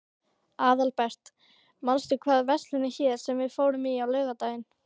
Aðalbert, manstu hvað verslunin hét sem við fórum í á laugardaginn?